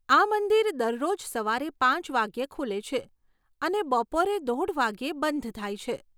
આ મંદિર દરરોજ સવારે પાંચ વાગ્યે ખુલે છે અને બપોરે દોઢ વાગ્યે બંધ થાય છે.